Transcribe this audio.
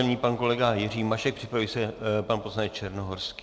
Nyní pan kolega Jiří Mašek, připraví se pan poslanec Černohorský.